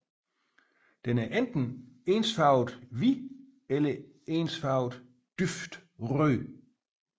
Den er enten ensfarvet hvid eller ensfarvet dyb rød